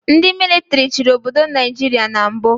Ndị mịlịtrị chịrị obodo Naijiria na mbụ